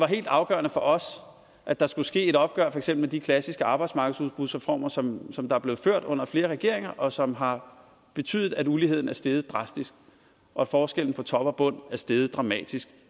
helt afgørende for os at der skulle ske et opgør med for eksempel de klassiske arbejdsmarkedsudbudsreformer som som der er blevet lavet under flere regeringer og som har betydet at uligheden er steget drastisk og at forskellen på top og bund er steget dramatisk